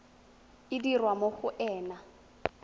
e dirwa mo go ena